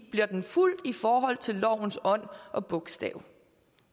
bliver fulgt i forhold til lovens ånd og bogstav